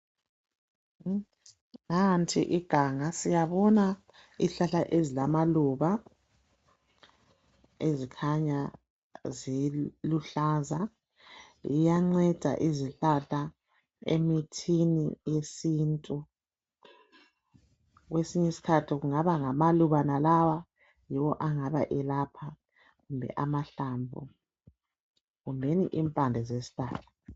Nanti iganga, siyabona izihlahla ezilamaluba ezikhanya ziluhlaza. Ziyanceda izihlahla emithini yesintu kwesinye isikhathi kungaba ngamaluba wonalawa, yiwo angabe elapha, amahlamvu kumbeni impande zesihlahla.